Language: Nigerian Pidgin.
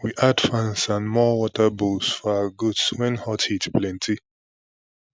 we add fans and more water bowls for our goats when hot heat plenty